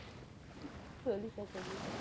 சொல்லிட்டேன், சொல்லிட்டேன்